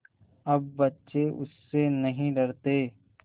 अब बच्चे उससे नहीं डरते